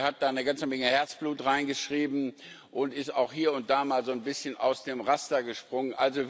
Sie hat da eine ganze Menge Herzblut reingeschrieben und ist auch hier und da mal so ein bisschen aus dem Raster gesprungen.